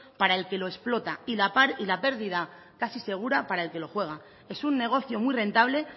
para el que lo explota y la pérdida casi segura para el que lo juega es un negocio muy rentable